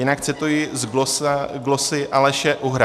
Jinak cituji z glosy Aleše Uhra.